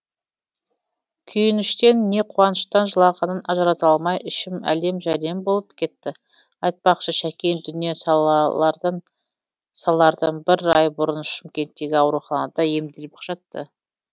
күйініштен не қуаныштан жылағанын ажырата алмай ішім әлем жәлем болып кетті айтпақшы шәкең дүние салардан бір ай бұрын шымкенттегі ауруханада емделіп жатты